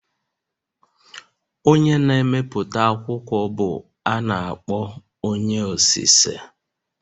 Onye na-emepụta akwụkwọ bụ a na-akpọ onye osise